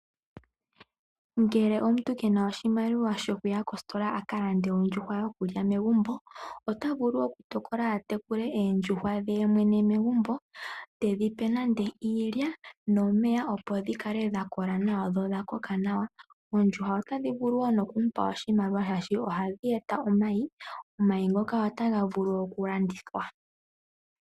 Ngele omuntu ke na oshimaliwa shokuya kositola a ka lande ondjushwa yokulya megumbo ota vulu okutokola a tekule oondjushwa dhe mwene megumbo te dhi pe nande iilya nomeya, opo dhi kale dha kola nawa dho odha koka nawa. Oondjushwa otadhi vulu wo noku mu pa oshimaliwa shaashi ohadhi e ta omayi. Omayi ngoka otaga vulu okulandithwa.